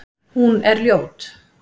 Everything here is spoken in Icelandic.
Hún er ljót.